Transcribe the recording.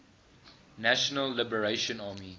national liberation army